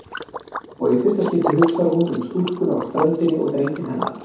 Og í fyrsta skipti hugsar hún um stúlkuna á ströndinni og drenginn hennar.